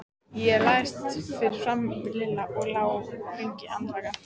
Ég lagðist fyrir framan Lilla og lá lengi andvaka.